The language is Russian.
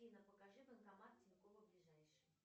афина покажи банкомат тинькоффа ближайший